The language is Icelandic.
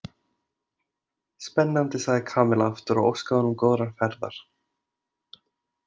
Spennandi sagði Kamilla aftur og óskaði honum góðrar ferðar.